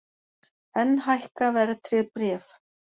Enn hækka verðtryggð bréf